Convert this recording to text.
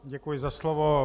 Děkuji za slovo.